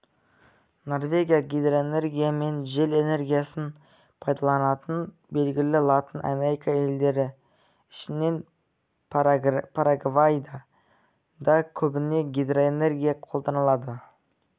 норвегия гидроэнергия мен жел энергиясын пайдаланатыны белгілі латын америка елдері ішінен парагвайда да көбіне гидроэнергия қолданылады